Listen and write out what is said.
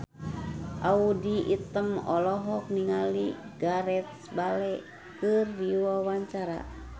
Audy Item olohok ningali Gareth Bale keur diwawancara